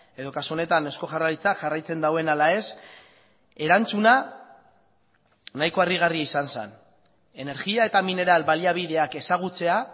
edo kasu honetan eusko jaurlaritzak jarraitzen duen ala ez erantzuna nahiko harrigarria izan zen energia eta mineral baliabideak ezagutzea